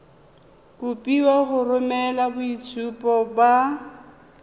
kopiwa go romela boitshupo ba